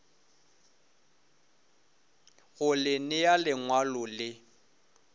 go le nea lengwalo le